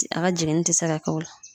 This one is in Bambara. A ka jiginni tɛ se ka kɛ o la.